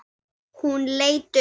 Hún leit upp.